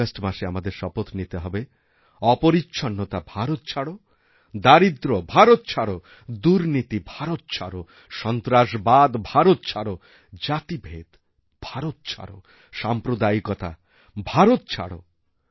এই আগস্ট মাসে আমাদের শপথ নিতে হবে অপরিচ্ছন্নতা ভারত ছাড়োদারিদ্র্য ভারত ছাড়ো দুর্নীতি ভারত ছাড়ো সন্ত্রাসবাদ ভারত ছাড়ো জাতিভেদ ভারত ছাড়ো সাম্প্রদায়িকতা ভারত ছাড়ো